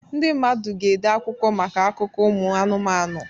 Ndị mmadụ ga-ede akwụkwọ maka akụkọ ụmụ anụmanụ